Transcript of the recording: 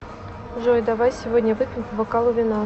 джой давай сегодня выпьем по бокалу вина